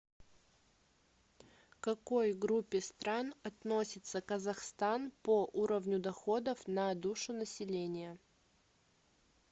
к какой группе стран относится казахстан по уровню доходов на душу населения